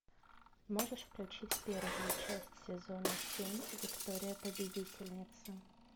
можешь включить первую часть сезона семь виктория победительница